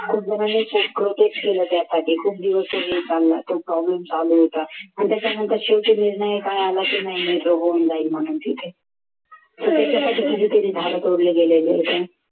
खूप जणांनी खूप protest केले त्यासाठी चालू होता आणि त्याचा मागे नंतर शेवटी निर्णय काय आला की नाही होऊन जाईल ठीक आहे तर त्याच्यासाठी कितीतरी झाड तोडले गेलेले होते.